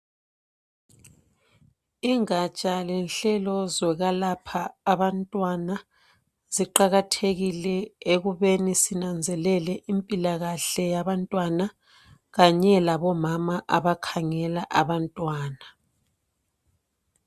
Ingatsha lenhlelo zokwelapha abantwana ziqakathekile ekubeni sinanzelele impilakahle yabantwana kanye labomama abakhangela abantwana.